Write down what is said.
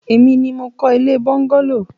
Èmi ni mo kọ́ ilé bọ́ńgálò.